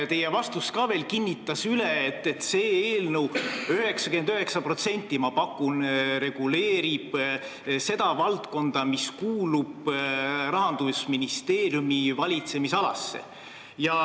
See justkui kinnitas, et eelnõu reguleerib 99% ulatuses valdkonda, mis kuulub Rahandusministeeriumi valitsemisalasse.